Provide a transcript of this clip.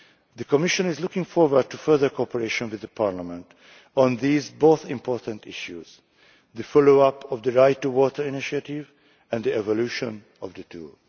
The Commission is looking forward to further cooperation with Parliament on both these important issues the follow up of the Right2Water initiative and the evolution of the tool.